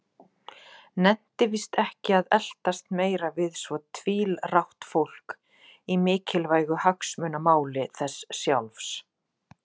Nennti víst ekki að eltast meira við svo tvílrátt fólk í mikilvægu hagsmunamáli þess sjálfs.